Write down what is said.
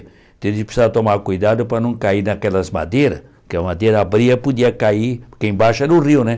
Eles precisavam tomar cuidado para não cair naquelas madeiras, que a madeira abria e podia cair, porque embaixo era o rio, né?